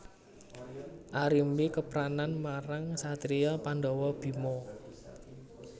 Arimbi kepranan marang satriya Pandhawa Bima